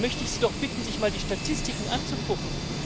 Da möchte ich Sie doch bitten, sich mal die Statistiken anzugucken.